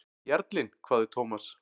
Jarlinn? hváði Thomas.